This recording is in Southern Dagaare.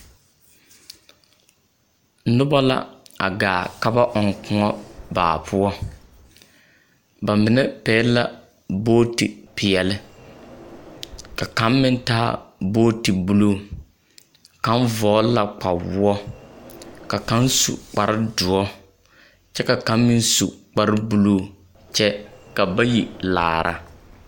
Noba la a gaa ka ba ɔŋ kõɔ baa poɔ, ba mine pɛgele la booti peɛle, ka kaŋ meŋ taa booti buluu. Kaŋ vɔgele la kpawoɔ, ka kaŋ su kpare doɔre kyɛ ka kaŋ meŋ su kpare buluu kyɛ ka bayi laara.